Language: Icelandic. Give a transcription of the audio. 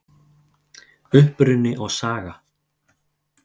Uppruni og saga